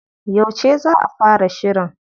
Yauce za a fara shirin?